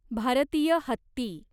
भारतीय हत्ती